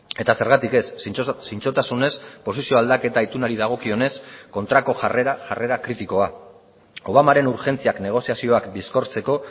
eta zergatik ez zintzotasunez posizio aldaketa itunari dagokionez kontrako jarrera jarrera kritikoa obamaren urgentziak negoziazioak bizkortzeko